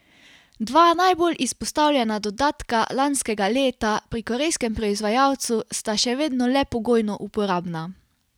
Dva najbolj izpostavljena dodatka lanskega leta pri korejskem proizvajalcu sta še vedno le pogojno uporabna.